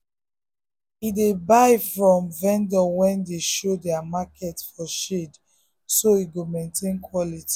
he dey buy from vendor wey dey show their market for shade so e go maintain quality.